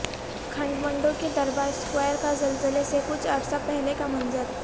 کھٹمنڈو کے دربار سکوائر کا زلزے سے کچھ عرصہ پہلے کا منظر